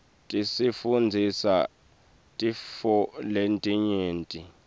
tisifundzisa tintfo letinyenti